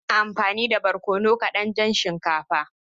Ina amfani da barkono kadan don shinkafa.